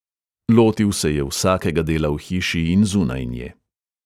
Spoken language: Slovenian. Lotil se je vsakega dela v hiši in zunaj nje.